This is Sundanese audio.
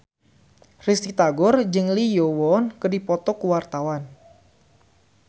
Risty Tagor jeung Lee Yo Won keur dipoto ku wartawan